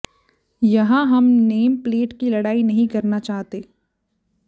यहाँ हम name plate की लड़ाई नहीं करना चाहते